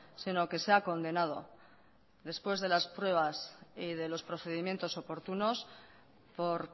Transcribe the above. sino que sea condenado después de las pruebas y de los procedimientos oportunos por